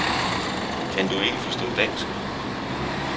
Kan du ikke forstå dansk?